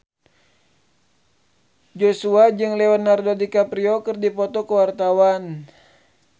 Joshua jeung Leonardo DiCaprio keur dipoto ku wartawan